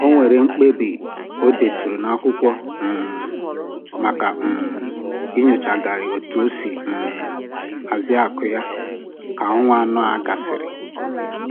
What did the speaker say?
O nwere mkpebi o deturu n'akwụkwọ um maka um inyochagharị otu o si um hazie akụ ya ka ọnwa anọ a gasịrị